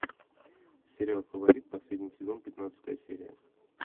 сериал фаворит последний сезон пятнадцатая серия